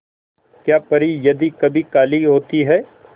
क्या परी यदि कभी काली होती है